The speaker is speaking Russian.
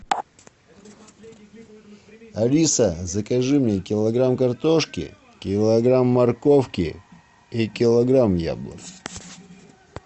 алиса закажи мне килограмм картошки килограмм морковки и килограмм яблок